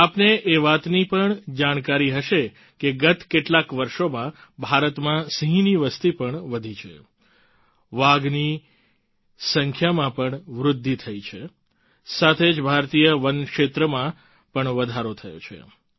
આપને એ વાતની પણ જાણકારી હશે કે ગત કેટલાક વર્ષોમાં ભારતમાં સિંહની વસતી પણ વધી છે વાઘની સંખ્યામાં પણ વૃદ્ધિ થઈ છે સાથે જ ભારતીય વનક્ષેત્રમાં પણ વધારો થયો છે